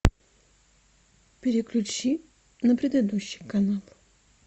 переключи на предыдущий канал